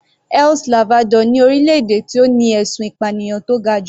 El Salvador ni orílẹ̀-èdè tó ní ẹ̀sùn ìpànìyàn tó ga jù.